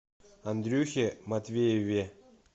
андрюхе матвееве